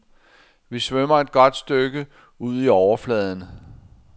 Vi svømmer et godt stykke ud i overfladen.